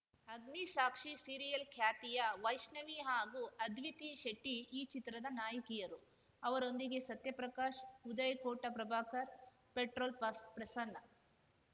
ಅಗ್ನಿ ಸಾಕ್ಷಿ ಸೀರಿಯಲ್‌ ಖ್ಯಾತಿಯ ವೈಷ್ಣವಿ ಹಾಗೂ ಅದ್ವಿತಿ ಶೆಟ್ಟಿಈ ಚಿತ್ರದ ನಾಯಕಿಯರು ಅವರೊಂದಿಗೆ ಸತ್ಯ ಪ್ರಕಾಶ್‌ ಉದಯ್‌ ಕೋಟ ಪ್ರಭಾಕರ್‌ ಪೆಟ್ರೋಲ್‌ ಪ್ರಸ್ ಪ್ರಸನ್ನ